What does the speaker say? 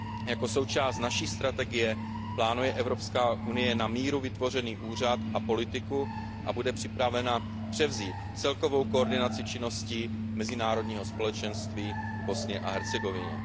Jako součást naší strategie plánuje Evropská unie na míru vytvořený úřad a politiku a bude připravena převzít celkovou koordinaci činností mezinárodního společenství v Bosně a Hercegovině.